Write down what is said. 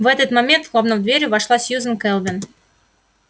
в этот момент хлопнув дверью вошла сьюзен кэлвин